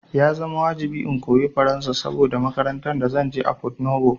Ya zama wajibi in koyi Faransa saboda makarantan da zanje a Porto Novo